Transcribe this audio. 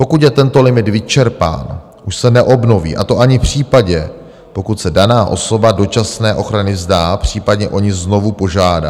Pokud je tento limit vyčerpán, už se neobnoví, a to ani v případě, pokud se daná osoba dočasné ochrany vzdá, případně o ni znovu požádá.